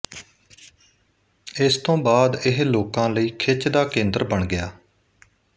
ਇਸ ਤੋਂ ਬਾਅਦ ਇਹ ਲੋਕਾਂ ਲਈ ਖਿੱਚ ਦਾ ਕੇਂਦਰ ਬਣ ਗਿਆ